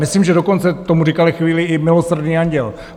Myslím, že dokonce tomu říkali chvíli i Milosrdný anděl.